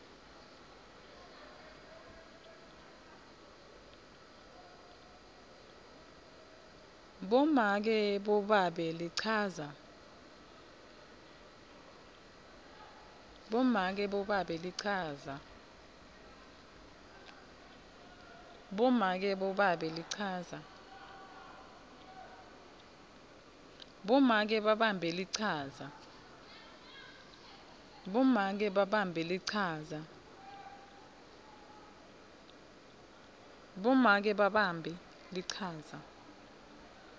bomake babambe lichaza